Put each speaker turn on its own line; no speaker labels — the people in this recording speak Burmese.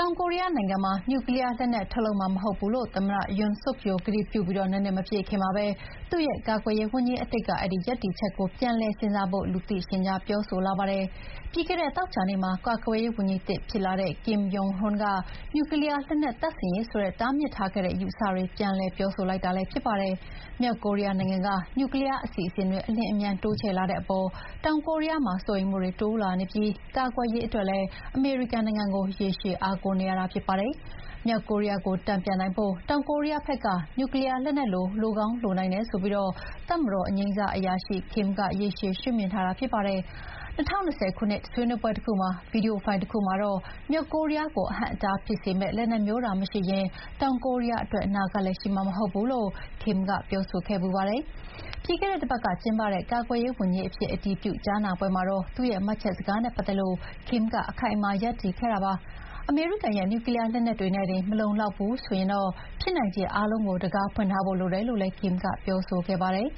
ောင်ကိုရီးယားနိုင်ငံမှာ နျူကလီးယားလက်နက်ထုတ်မှာမဟုတ်ဘူးလို့ သမ္မတ Yoon Suk Yeol ကတိပြုပြီး နှစ်နှစ်မပြည့်ခင်မှာပဲ သူ့ရဲ့ ကာကွယ်ရေးဝန်ကြီးအသစ်က အဲဒီရပ်တည်ချက်ကို ပြန်လည်စဉ်းစားဖို့ လူသိရှင်ကြားပြောလာပါတယ်။ ပြီးခဲ့တဲ့သောကြာနေ့မှာ ကာကွယ်ရေးဝန်ကြီးသစ်ဖြစ်လာတဲ့ Kim Yong-hyun က နျူကလီးယားလက်နက်တပ်ဆင်ရေးဆိုတဲ့ တားမြစ်ထားခဲ့တဲ့ အယူအဆတွေပြန်လည်ပြောဆိုလိုက်တာလည်းဖြစ်ပါတယ်။ မြောက်ကိုရီးယားနိုင်ငံက နျူကလီးယားအစီအစဥ်တွေ အလျင်အမြန်တိုးချဲ့လာတဲ့အပေါ် တောင်ကိုးရီးယားမှာစိုးရိမ်မှုတွေတိုးလာနေပြီး ကာကွယ်ရေးအတွက်လည်း အမေရိကန်နိုင်ငံကို ရေရှည် အားကိုးနေရတာဖြစ်ပါတယ်။မြောက်ကိုရီးယားကို တန်ပြန်နိုင်ဖို့ တောင်ကိုရီးယားဘက်က နျူကလီးယားလက်နက် လိုကောင်းလိုနိုင်တယ်ဆိုပြီးတပ်မတော်အငြိမ်းစားအရာရှိ Kim က ရေရှည် ရှုမြင်ထားတာဖြစ်ပါတယ်။ ၂၀၂၀ ခုနှစ်ကဆွေးနွေးပွဲက ဗီဒီယိုဖိုင်တခုမှာတော့ မြောက်ကိုရီးယားကို အဟန့်အတားဖြစ်စေမယ့် လက်နက်မျိုးသာမရှိရင် တောင်ကိုရီးယားအတွက် အနာဂတ်လည်းရှိမှာမဟုတ် ဘူးလို့ Kim ကပြောဆိုခဲ့ဖူးပါတယ်။ ပြီးခဲ့တဲ့တပတ်ကကျင်းပတဲ့ ကာကွယ်ရေးဝန်ကြီးအဖြစ် အတည်ပြုကြားနာပွဲမှာတော့ သူ့ရဲ့ မှတ်ချက်စကားနဲ့ပတ်သက်လို့ Kim က အခိုင်အမာရပ်တည်ခဲ့တာပါ။ အမေရိကန်ရဲ့ နျူကလီးယားလက်နက်တွေနဲ့တင် မလုံလောက်ဘူးဆိုရင်တော့ ဖြစ်နိုင်ခြေအားလုံးကို တံခါးဖွင့်ထားဖို့လိုတယ်လို
့လည်း Kim ကပြောဆိုခဲ့ပါတယ်